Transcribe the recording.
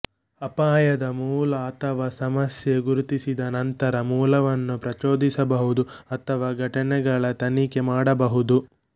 ಅಪಾಯದ ಮೂಲ ಅಥವಾ ಸಮಸ್ಯೆ ಗುರುತಿಸಿದ ನಂತರ ಮೂಲವನ್ನು ಪ್ರಚೋದಿಸಬಹುದು ಅಥವಾ ಘಟನೆಗಳ ತನಿಖೆ ಮಾಡಬಹುದು